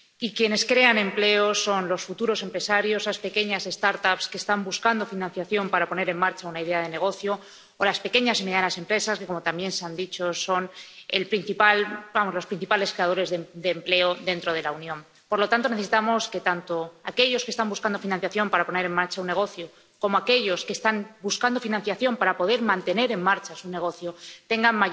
Quienes crean empleo son los futuros empresarios, esas pequeñas start ups que están buscando financiación para poner en marcha una idea de negocio, o las pequeñas y medianas empresas, que, como también se ha dicho, son los principales creadores de empleo dentro de la Unión Por lo tanto, necesitamos que tanto aquellos que están buscando financiación para poner en marcha un negocio, como aquellos que están buscando financiación para poder mantener en marcha su negocio, tengan